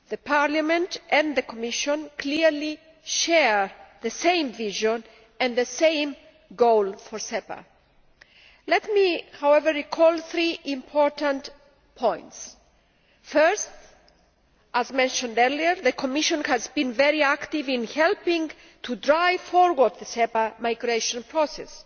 Parliament and the Commission clearly share the same vision and the same goal for SEPA. Let me, however, recall three important points. Firstly, as mentioned earlier, the Commission has been very active in helping to drive forward the SEPA migration process,